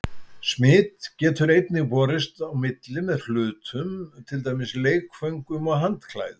Smit getur einnig borist á milli með hlutum, til dæmis leikföngum og handklæðum.